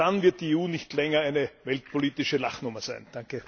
Erst dann wird die EU nicht länger eine weltpolitische Lachnummer sein!